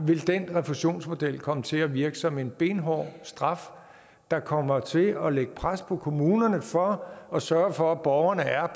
vil den refusionsmodel komme til at virke som en benhård straf der kommer til at lægge pres på kommunerne for at sørge for at borgerne er